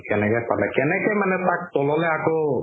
কেনেকে পালে কেনেকে মানে তাক তললৈ আকৌ